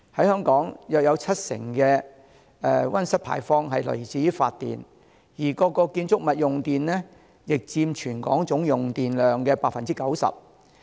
香港約有七成的溫室氣體排放來自發電，而各建築物用電佔全港總用電量的 90%。